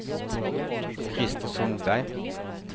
Christer Sundberg